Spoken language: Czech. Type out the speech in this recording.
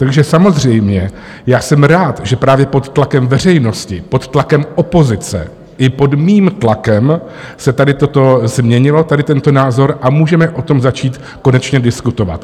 Takže samozřejmě, já jsem rád, že právě pod tlakem veřejnosti, pod tlakem opozice i pod mým tlakem se tady toto změnilo, tady tento názor, a můžeme o tom začít konečně diskutovat.